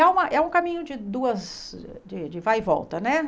E é uma é um caminho de duas, de de vai e volta, né?